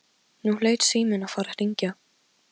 Nú hlaut síminn að fara að hringja.